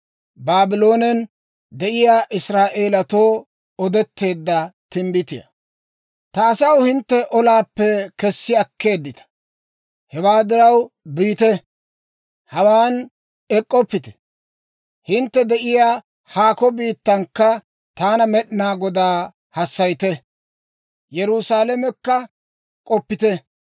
«Ta asaw, hintte olaappe kessi akkeeddita. Hewaa diraw, biite! Hawaan ek'k'oppite! Hintte de'iyaa haakko biittankka taana Med'inaa Godaa hassayite; Yerusaalamekka k'oppite.